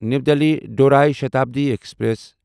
نیو دِلی دورٲیی شتابڈی ایکسپریس